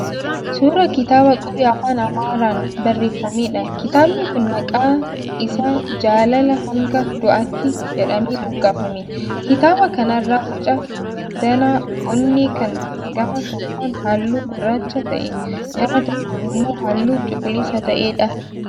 Suuraa kitaaba qubee afaan Amaaraan barreeffameedha. Kitaabni kun maqaa isaa 'Jaalala hanga du'aatti' jedhamee moggaafame. Kitaaba kana irra boca danaa onnee kan gama tokkoon halluu gurraacha ta'ee gama tokkoon immoo halluu cuquliisa ta'eedha.